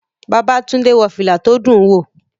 Babátúndé wọ fìlà tó dùn wò